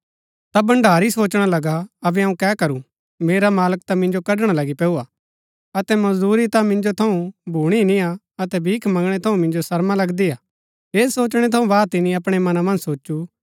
ता भण्डारी सोचणा लगा अबै अऊँ कै करू मेरा मालक ता मिंजो कड़णा लगी पैऊरा अतै मजदूरी ता मिन्जो थऊँ भूणी नियां अतै भीख मंगणै थऊँ मिन्जो शर्मा लगदी हा ऐह सोचणै थऊँ बाद तिनी अपणै मनां मन्ज सोचु